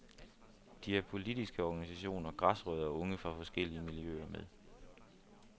De har politiske organisationer, græsrødder og unge fra forskellige miljøer med.